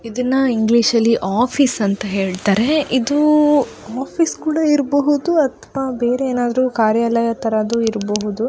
ಇದನ್ನ ಇಂಗ್ಲಿಷ್ ಅಲ್ಲಿ ಆಫೀಸ್ ಅಂತ ಹೇಳತಾರೆ ಇದು ಆಫೀಸ್ ಕೂಡ ಇರ್ಬಹುದು ಅಥವಾ ಬೇರೆ ಏನಾದ್ರು ಕಾರ್ಯಾಲಯ ತರದ್ ಇರ್ಬಹುದು.